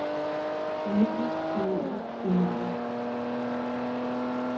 umuligt umuligt umuligt